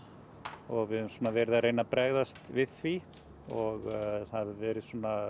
og við höfum svona verið að reyna að bregðast við því og það hafa verið